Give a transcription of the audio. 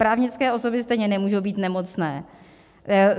Právnické osoby stejně nemůžou být nemocné.